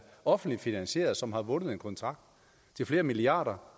offentligt finansieret og som har vundet en kontrakt til flere milliarder